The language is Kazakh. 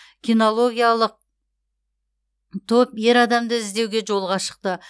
кинологиялық топ ер адамды іздеуге жолға шықты